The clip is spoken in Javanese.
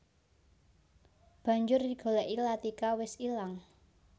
Banjur digolèki Latika wis ilang